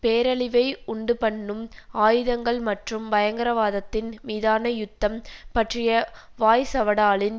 பேரழிவை உண்டு பண்ணும் ஆயுதங்கள் மற்றும் பயங்கரவாதத்தின் மீதான யுத்தம் பற்றிய வாய்சவடாலின்